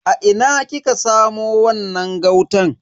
A ina kika samo wannan gautan?